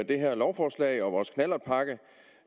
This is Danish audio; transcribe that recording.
det her lovforslag og vores knallertpakke